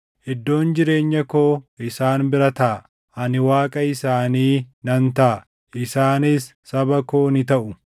Iddoon jireenya koo isaan bira taʼa; ani Waaqa isaanii nan taʼa; isaanis saba koo ni taʼu.